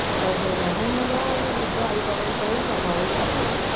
त्यात दोन लहान मुलं आणि वृद्ध आईबाबांचाही समावेश आहे